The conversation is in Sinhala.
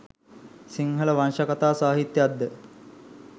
සිංහල වංශකතා සාහිත්‍යයක් ද